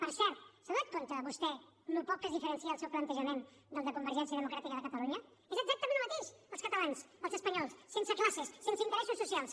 per cert se n’ha adonat vostè del poc que es diferencia el seu plantejament del de convergència democràtica de catalunya és exactament el mateix els catalans els espanyols sense classes sense interessos socials